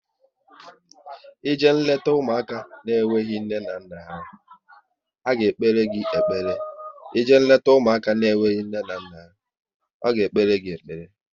Ị je leta ụmụaka na enweghị nne na nna ha, a ga-ekpere gị ekpere